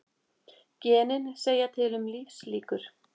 Genin segja til um lífslíkur